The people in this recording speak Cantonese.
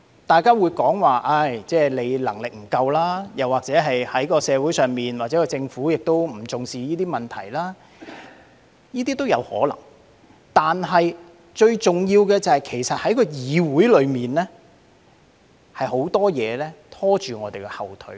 大家會說我的能力不足，又或我們的社會或政府不重視這些問題，這些都有可能，但最重要的是在議會內，有很多事情在"拖我們後腿"。